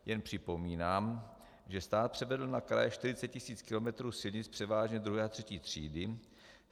Jen připomínám, že stát převedl na kraje 40 tisíc kilometrů silnic převážně druhé a třetí třídy.